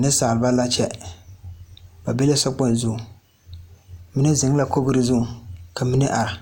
Neŋsaalba la kyɛ ba be la so kpoŋ zuŋ mine zeŋ la kogre zuŋ ka mine are